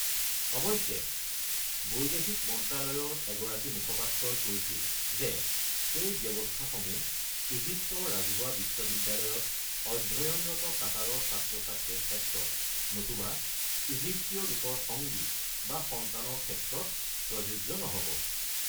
অৱশ্যে বৈদেশিক মন্ত্ৰালয়ৰ এগৰাকী মুখপাত্ৰই কৈছিল যে সেই ব্যৱস্থাসমূহ ইজিপ্তৰ ৰাজহুৱা বিশ্ববিদ্যালয়ত অধ্যয়নৰত কাটাৰৰ ছাত্ৰ-ছাত্ৰীৰ ক্ষেত্ৰত, নতুবা ইজিপ্তীয় লোকৰ সংগী বা সন্তানৰ ক্ষেত্ৰত প্ৰযোজ্য নহ’ব।